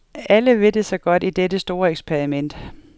Alle vil det så godt i dette store eksperiment.